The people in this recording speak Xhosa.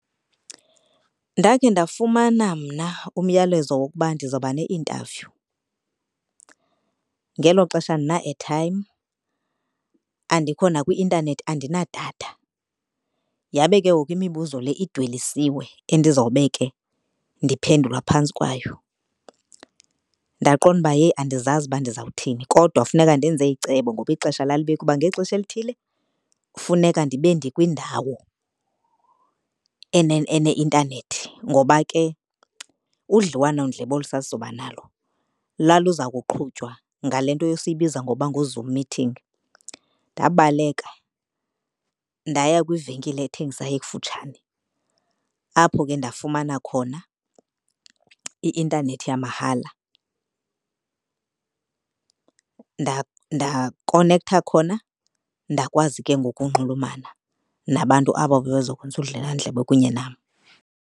Ndakhe ndafumana mna umyalezo wokuba ndizawuba ne-interview. Ngelo xesha andina-airtime, andikho nakwi-intanethi, andinadatha. Yabe ke ngoku imibuzo le idwelisiwe endizobe ke ndiphendula phantsi kwayo. Ndaqonda uba yeyi andizazi uba ndizawuthini kodwa funeka ndenze icebo ngoba ixesha lalibekiwe uba ngexesha elithile funeka ndibe ndikwindawo ene-intanethi ngoba ke udliwanondlebe olu sasizoba nalo laliza kuqhutywa ngale nto esiyibiza ngokuba nguZoom meeting. Ndabaleka ndaya kwivenkile ethengisayo ekufutshane apho ke ndafumana khona i-intanethi yamahala ndakonektha khona, ndakwazi ke ngoku unxulumana nabantu aba babezokwenza udliwanondlebe kunye nam.